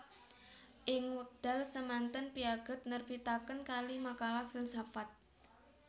Ing wekdal semanten Piaget nerbitaken kalih makalah filsafat